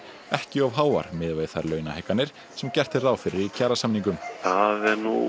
ekki of háar miðað við þær launahækkanir sem gert er ráð fyrir í kjarasamningum það